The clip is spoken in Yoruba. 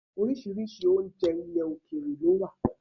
Oríṣiríṣi oúnjẹ ilẹ̀ òkèèrè ló wà.